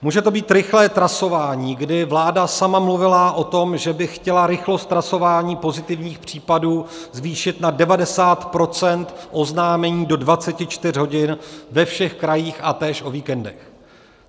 Může to být rychlé trasování, kdy vláda sama mluvila o tom, že by chtěla rychlost trasování pozitivních případů zvýšit na 90 % oznámení do 24 hodin ve všech krajích a též o víkendech.